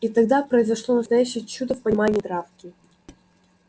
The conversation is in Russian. и тогда произошло настоящее чудо в понимании травки